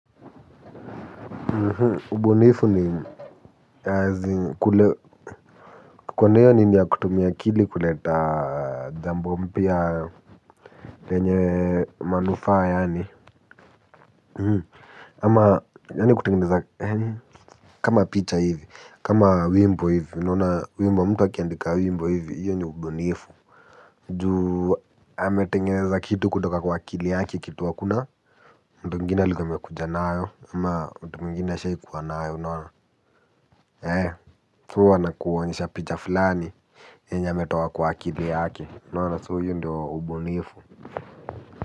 Ubunifu ni kukuwa naiyo nini ya kutumia akili kuleta jambo mpya lenye manufaa yaani ama yaani kutengeneza kama picha hivi, kama wimbo hivi, unaona wimbo mtu akiandika wimbo hivi io ni ubunifu. Juu, ametengeza kitu kutoka kwa akili yaki kitu hakuna. Mtu mwingine likamekujanayo ama mtu mgini asha ikuwanayo nona ee tu wana kuonyesha picha fulani enya metuwa kwa akithi yake nuna suyu ndio ubunifu.